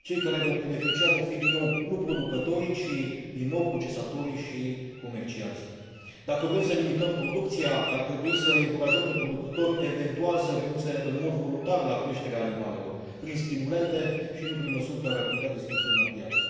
Cei care vor beneficia vor fi din nou nu producătorii, ci, din nou, procesatorii și comercianții. Dacă vrem să limităm producția, ar trebui să i încurajăm pe producători eventual să renunțe în mod voluntar la creșterea animalelor prin stimulente, și nu prin măsuri care ar putea distorsiona piața.